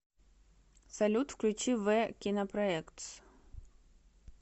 салют включи ве кинопроектс